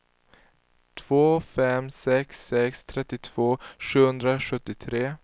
två fem sex sex trettiotvå sjuhundrasjuttiotre